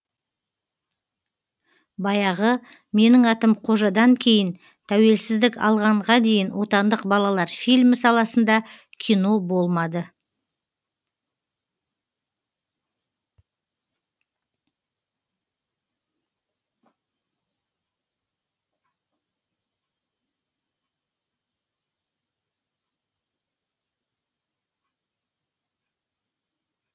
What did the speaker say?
баяғы менің атым қожадан кейін тәуелсіздік алғанға дейін отандық балалар фильмі саласында кино болмады